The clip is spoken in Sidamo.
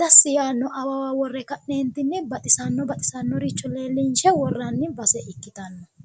dassi yaanno awawa worre ka'neentinni baxisannoricho leellinshshe worranni base ikkitanno.